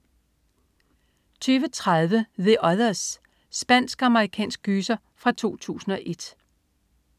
20.30 The Others. Spansk-amerikansk gyser fra 2001